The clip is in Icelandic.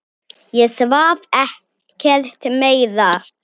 Ég svaf ekkert meira.